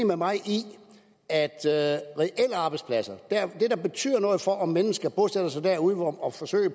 med mig i at reelle arbejdspladser er det der betyder noget for om mennesker bosætter sig derude og forsøger at